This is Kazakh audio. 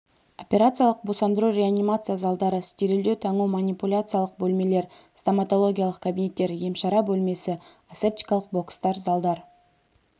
операциялық босандыру реанимация залдары стерильдеу таңу манипуляциялық бөлмелер стоматологиялық кабинеттер емшара бөлмесі асептикалық бокстар залдар